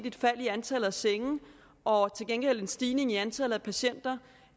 et fald i antallet af senge og til gengæld en stigning i antallet af patienter